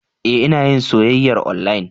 E, Ina yin soyyayar onlayin.